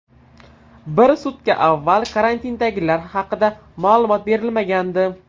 Bir sutka avval karantindagilar haqida ma’lumot berilmagandi.